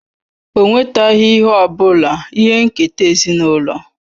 O nwetaghị ihe ọ bụla ihe nketa ezinụlọ